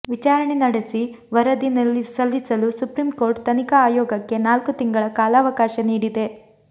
ವಿಚಾರಣೆ ನಡೆಸಿ ವರದಿ ಸಲ್ಲಿಸಲು ಸುಪ್ರೀಂ ಕೋರ್ಟ್ ತನಿಖಾ ಆಯೋಗಕ್ಕೆ ನಾಲ್ಕು ತಿಂಗಳ ಕಾಲಾವಕಾಶ ನೀಡಿದೆ